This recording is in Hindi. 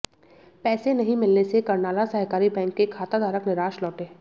पैसे नहीं मिलने से कर्नाला सहकारी बैंक के खाताधारक निराश लौटे